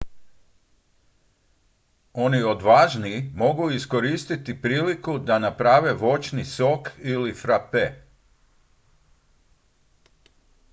oni odvažniji mogu iskoristiti priliku da naprave voćni sok ili frape